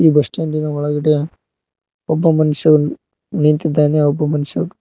bus ಸ್ಟಾಂಡಿನ ಒಳಗಡೆ ಒಬ್ಬ ಮನುಷ ನಿಂತಿದ್ದಾನೆ ಒಬ್ಬ ಮನ್ಶಾ --